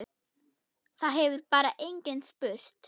Það hefur bara enginn spurt